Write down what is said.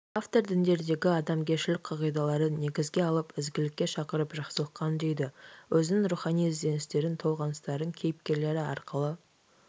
автор діндердегі адамгершілік қағидаларын негізге алып ізгілікке шақырып жақсылыққа үндейді өзінің рухани ізденістерін толғаныстарын кейіпкерлері арқылы